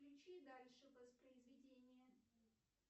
включи дальше воспроизведение